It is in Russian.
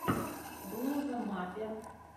блуза маппер